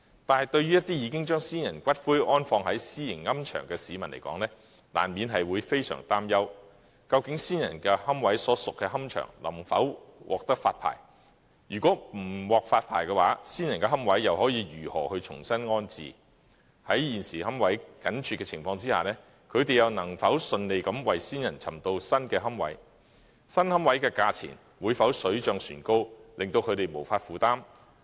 但是，對於一些已經將先人骨灰安放在私營龕場的市民來說，難免會非常擔憂，究竟安放先人骨灰的龕場能否獲得發牌；如果不獲發牌，先人的骨灰又可如何重新安置；在現時龕位緊絀的情況下，他們又能否順利為先人尋找到新龕位，新龕位的價錢會否水漲船高而令他們無法負擔。